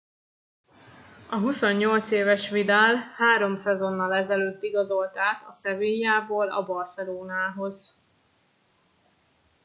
a 28 éves vidal három szezonnal ezelőtt igazolt át a sevillából a barcelonához